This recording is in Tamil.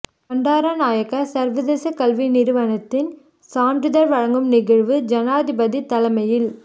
பண்டாரநாயக்க சர்வதேச கல்வி நிறுவனத்தின் சான்றிதழ் வழங்கும் நிகழ்வு ஜனாதிபதி தலைமையில்